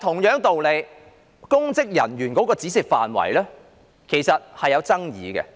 可是，公職人員的涵蓋範圍是有爭議的。